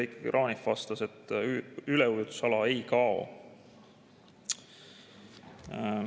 Heiki Kranich vastas, et üleujutusala seadusest ei kao.